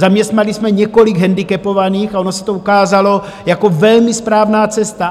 Zaměstnali jsme několik handicapovaných a ono se to ukázalo jako velmi správná cesta.